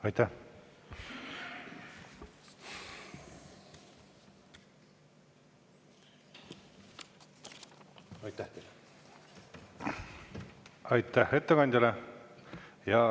Aitäh ettekandjale!